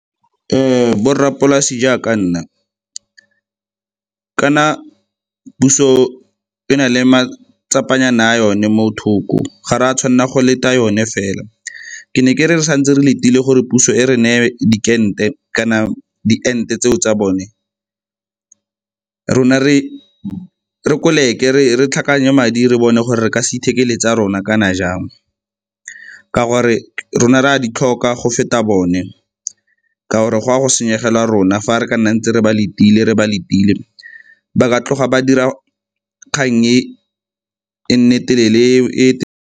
Borrapolase jaaka nna, kana puso e na le matsapa nyana a yone mo thoko, ga re a tshwanela go leta yone fela. Ke ne ke re re santse re letile gore puso e re neye dikente kana di ente tseo tsa bone rona re koleke re tlhakanye madi re bone gore re ka se ithekele tsa rona kana jang. Ka gore rona re a di tlhoka go feta bone ka gore go ya go senyegela rona. Fa re ka nna ntse re ba letile, re ba lebile ba ka tloga ba dira kgang e e nne telele e.